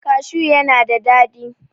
cashu yana da dadi